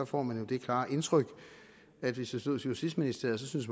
får man det klare indtryk at hvis det stod til justitsministeriet synes